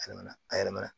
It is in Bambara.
A yɛrɛ nana a yɛrɛ mana